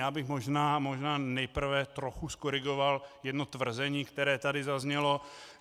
Já bych možná nejprve trochu zkorigoval jedno tvrzení, které tady zaznělo.